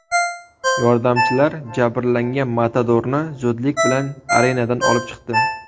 Yordamchilar jabrlangan matadorni zudlik bilan arenadan olib chiqdi.